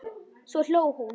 Svo hló hún.